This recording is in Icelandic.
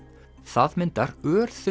það myndar